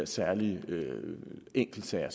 særlige enkeltsager